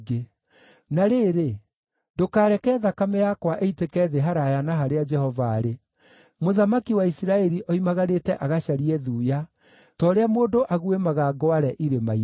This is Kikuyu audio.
Na rĩrĩ, ndũkareke thakame yakwa ĩitĩke thĩ haraaya na harĩa Jehova arĩ. Mũthamaki wa Isiraeli oimagarĩte agacarie thuya, ta ũrĩa mũndũ aguĩmaga ngware irĩma-inĩ.”